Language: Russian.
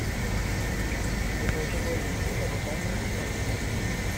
безалкогольное пиво добавь в корзину